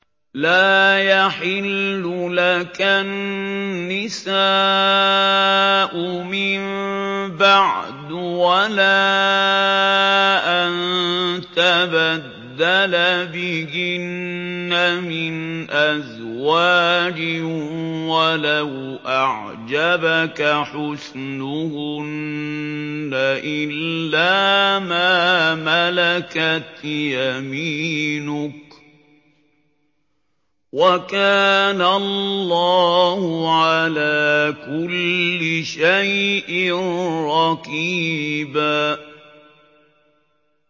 لَّا يَحِلُّ لَكَ النِّسَاءُ مِن بَعْدُ وَلَا أَن تَبَدَّلَ بِهِنَّ مِنْ أَزْوَاجٍ وَلَوْ أَعْجَبَكَ حُسْنُهُنَّ إِلَّا مَا مَلَكَتْ يَمِينُكَ ۗ وَكَانَ اللَّهُ عَلَىٰ كُلِّ شَيْءٍ رَّقِيبًا